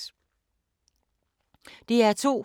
DR2